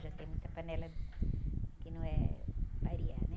Já tem muita panela que não é para arear, né?